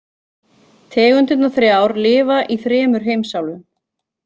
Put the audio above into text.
Tegundirnar þrjár lifa í þremur heimsálfum.